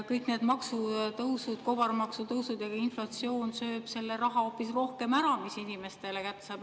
Kõik need maksutõusud, kobarmaksutõusud ja ka inflatsioon söövad seda raha hoopis rohkem ära, mis inimestele kätte jääb.